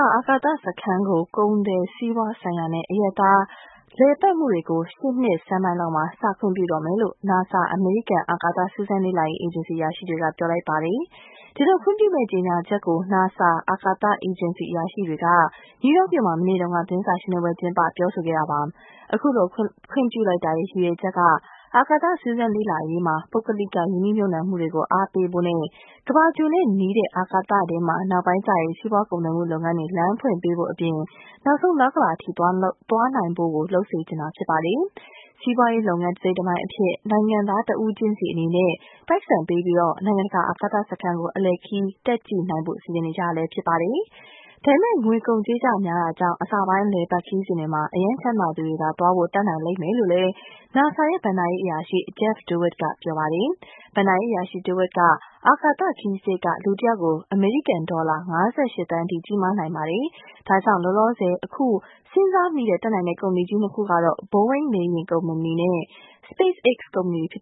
ာ အာကာသစခန်းကို ကုန်သွယ်စီးပွားဆိုင်ရာနဲ့ အရပ်သား လည်ပတ်မူတွေကို ရှေ.နှစ်ဆန်းလောက် စ ခွင့်ပြုတော့မယ်လို့NASA အမေရိကန် အာကာသ စူးစမ်းလေ့လာရေး အေဂျင်စီ အရာရှိတွေက ဆိုလိုက်ပါတယ်။ ဒီလို ခွင့်ပြုမယ့် ကြေညာချက်ကို NASA အာကာသ အေဂျင်စီ အရာရှိတွေက နယူးယောက်မြို့မှာ မနေ့က သတင်းစာရှင်းလင်းပွဲလုပ် ပြောခဲ့တာပါ။ ခုလို ခွင့်ပြုလိုက်တာရဲ့ ရည်ရွယ်ချက်က၊အာကာသစူးစမ်းလေ့လာရေးမှာ ပုဂ္ဂလိက ရင်းနှီးမြုပ်နှံမူတွေကို အားပေးဖို့နဲ့၊ ကမ္ဘာဂြိုလ်နဲ့နီးတဲ့ အာကာသထဲမှာ နောက်ပိုင်းကျရင် စီးပွားကုန်သွယ်မူလုပ်ငန်းတွေ လမ်းဖွင့်ပေးဖို့အပြင်၊ နောက်ဆုံး လ အထိ သွားလုပ်စေနိုင်ဖို့ ဖြစ်ပါတယ်။ စီးပွားရေးလုပ်ငန်း တစိတ်တပိုင်းအဖြစ် နိုင်ငံသားတဦးချင်းစီအနေနဲ့ ပိုက်ဆံပေးပြီး နိုင်ငံတကာ အကာသစခန်းကို အလည်ခရီး တက်ကြည့်နိုင်ဖို့ စီစဉ်နေပါတယ်။ ဒါပေမဲ့ ငွေကုန်ကြေးကျ များတာကြောင့် အစပိုင်း အလည်အပတ် ခရီးစဉ်တွေမှာ အရမ်း ချမ်းသာသူတွေသာ သွားဖို့ တတ်နိုင်လိမ့်မယ်လို့၊NASA ရဲ့ ဘဏ္ဍာရေး အရာရှိ Jeff Dewit က ရှင်းပြပါတယ်။ ဘဏ္ဍာရေးအရှိ Dewit က အာကသခရီးစရိတ်က လူတဦးကို အမေရိကန်ဒေါ်လာ (၅၈) သန်း အထိ ကြီးမားတယ်၊ ဒါကြောင့် အခုလောလောဆယ် စဉ်းစားမိတဲ့ တတ်နိုင်မယ့် ကုမ္ပဏီကြီး (၂) ခုက Boeing လေယာဉ်ကုမ္ပဏီနဲ့ SpaceX ကုမ္ပဏီတွေဖြစ်